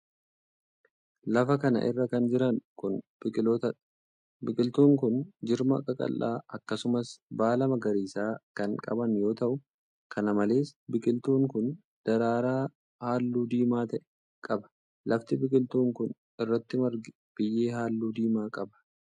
Lafa kana irra kan jiran kun, biqiloota dha. Biqiltuun kun jirma qaqallaa akkasumas baala magariisa kan qaban yoo ta'u, kana malees biqiltuun kun daraaraa haalluu diimaa ta'e qaba. Lafti biqiltuun kun irratti marge biyyee haalluu diimaa qaba.